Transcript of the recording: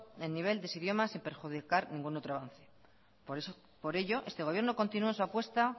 en nivel de idiomas sin perjudicar ningún otro avance por ello este gobierno continúa su apuesta